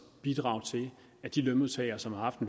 bidrage til at de lønmodtagere som har haft